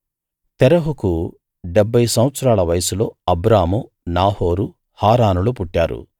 తెరహుకు డెబ్భై సంవత్సరాల వయస్సులో అబ్రాము నాహోరు హారానులు పుట్టారు